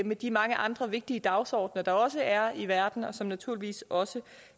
med de mange andre vigtige dagsordener der også er i verden og som naturligvis også